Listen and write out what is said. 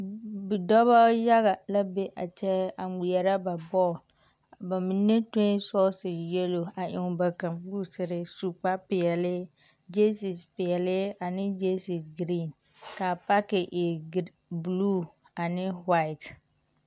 Bidͻbͻ yaga la be a kyԑ a ŋmeԑrԑ ba bͻle. Ba mine tue sͻͻse yelo a eŋ ba kamboosere su kpare peԑle gyeesis peԑle aneŋ gyeesis giriiŋ. Ka a paaki e giri buluu ane ho-ait.